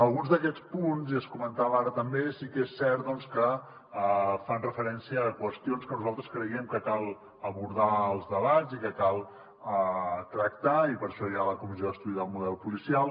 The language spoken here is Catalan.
alguns d’aquests punts i es comentava ara també sí que és cert que fan referència a qüestions que nosaltres creiem que cal abordar als debats i que cal tractar i per això hi ha la comissió d’estudi del model policial